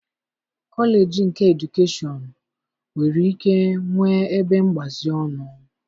Kọleji nke edukeshọn nwere ike nwee ebe mgbazi ọnụ